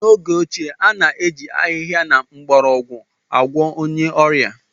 N'oge ochie, a na-eji ahịhịa na mgbọrọgwụ agwọọ onye ọrịa.